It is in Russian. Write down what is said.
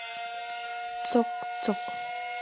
цок цок